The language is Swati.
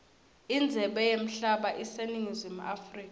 indzebe yemhlaba iseningizimu africa